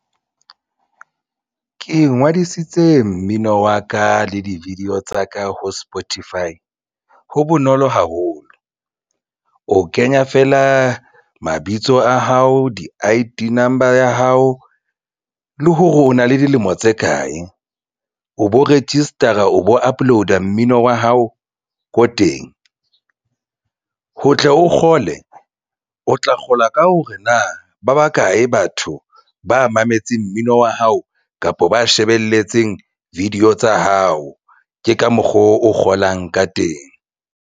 Ke ingodisitse mmino wa ka le di-video tsa ka ho Spotify ho bonolo haholo o kenya feela mabitso a hao di I_D number ya hao le hore o na le dilemo tse kae o bo register-a o bo upload-a mmino wa hao ko teng ho tle o kgole o tla kgola ka hore na ba bakae batho ba mametse mmino wa hao kapa ba shebelletseng video tsa hao ke ka mokgwa o kgolang ka teng.